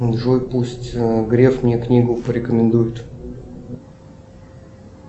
джой пусть греф мне книгу порекомендует